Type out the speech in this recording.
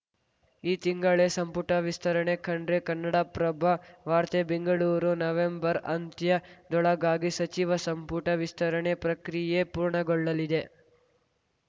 ಈ ತಿಂಗಳೇ ಸಂಪುಟ ವಿಸ್ತರಣೆ ಖಂಡ್ರೆ ಕನ್ನಡಪ್ರಭ ವಾರ್ತೆ ಬೆಂಗಳೂರು ನವೆಂಬರ್‌ ಅಂತ್ಯದೊಳಗಾಗಿ ಸಚಿವ ಸಂಪುಟ ವಿಸ್ತರಣೆ ಪ್ರಕ್ರಿಯೆ ಪೂರ್ಣಗೊಳ್ಳಲಿದೆ